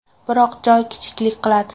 Biroq joy kichiklik qiladi.